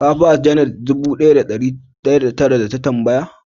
Ka ba "janet" dubu daya da dari daya da tara da ta tambaya?